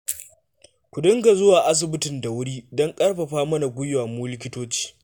Ku dinga zuwa asibitin da wuri don ƙarfafa mana gwiwa mu likitoci